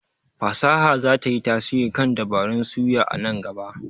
fasaha za ta yi tasiri kan dabarun suya a nan gaba.